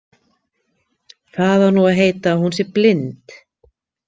Það á nú að heita að hún sé blind.